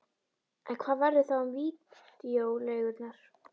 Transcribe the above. En hvað verður þá um vídeóleigurnar?